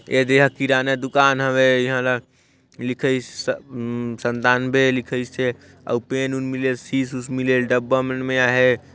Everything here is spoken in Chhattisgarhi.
ये देहा किराना दुकान हवे इहाँ ल लिखाइस उम्म संतानवे लिखाइसे अऊ पेन उन मिले सिस उस मिले डब्बा मन मे आहे।